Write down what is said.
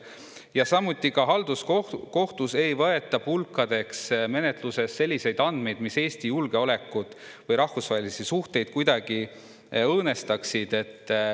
Ja samuti halduskohtus ei võeta pulkadeks menetluses selliseid andmeid, mis Eesti julgeolekut või rahvusvahelisi suhteid kuidagi õõnestaksid.